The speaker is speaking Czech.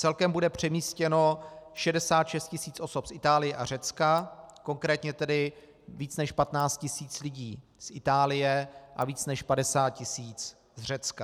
Celkem bude přemístěno 66 tisíc osob z Itálie a Řecka, konkrétně tedy více než 15 tisíc lidí z Itálie a více než 50 tisíc z Řecka.